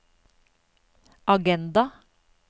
agenda